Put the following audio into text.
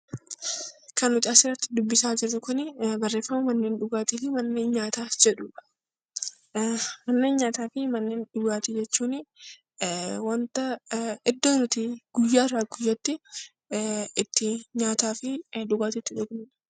Manneen nyaataa fi manneen dhugaatii jechuun iddoo nuti guyyaarraa guyyaatti nyaataa fi dhugaatii itti dhugnudha.